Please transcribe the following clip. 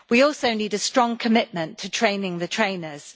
We also need a strong commitment to training the trainers.